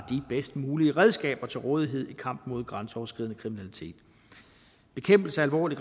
bedst mulige redskaber til rådighed i kampen mod grænseoverskridende kriminalitet bekæmpelse af alvorlig